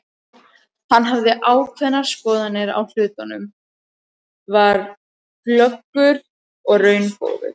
Hann hafði ákveðnar skoðanir á hlutunum, var glöggur og raungóður.